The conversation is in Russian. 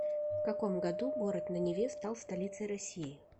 в каком году город на неве стал столицей россии